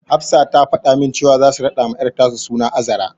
Hafsa ta fada min cewa zasu raɗawa ƴar tasu suna Azra.